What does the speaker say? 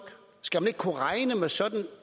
skal man ikke kunne regne med sådan